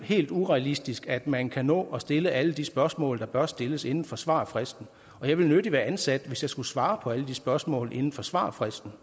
helt urealistisk at man kan nå at stille alle de spørgsmål der bør stilles inden for svarfristen og jeg ville nødig være ansat hvis jeg skulle svare på alle de spørgsmål inden for svarfristen